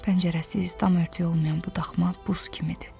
Pəncərəsiz, dam örtüyü olmayan bu daxma buz kimidir.